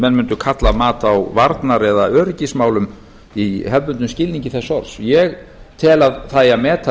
menn mundu kalla mat á varnar eða öryggismálum í hefðbundnum skilningi þess orð ég tel að það eigi að meta